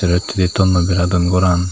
sero hittedi thonnoi bera dun goran.